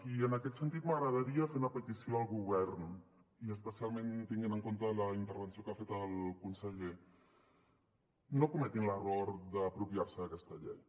i en aquest sentit m’agradaria fer una petició al govern i especialment tenint en compte la intervenció que ha fet el conseller no cometin l’error d’apropiar se d’aquesta llei